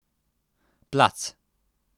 Plac.